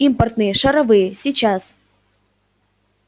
импортные шаровые сейчас